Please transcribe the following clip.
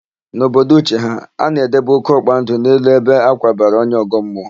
N'obodo Uche ha, a na-edebe ókéọkpa ndụ n'elu ebe a kwabara onye ọgọmmụọ.